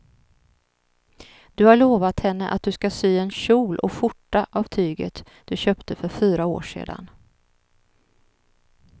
Du har lovat henne att du ska sy en kjol och skjorta av tyget du köpte för fyra år sedan.